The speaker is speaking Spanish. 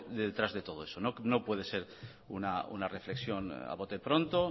detrás de todo eso no puede ser una reflexión a bote pronto